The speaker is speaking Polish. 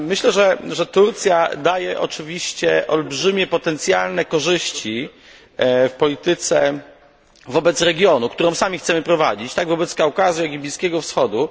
Myślę, że Turcja daje oczywiście olbrzymie potencjalne korzyści w polityce wobec regionu, którą sami chcemy prowadzić, tak wobec Kaukazu, jak i Bliskiego Wschodu.